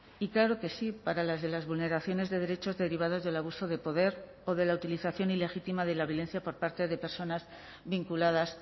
y claro que sí para las de las vulneraciones de derechos derivados del abuso de poder o de la utilización ilegítima de la violencia por parte de personas vinculadas